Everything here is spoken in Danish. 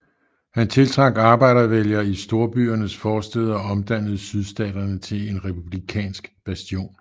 Han tiltrak arbejdervælgere i storbyernes forstæder og omdannede Sydstaterne til en republikanske bastion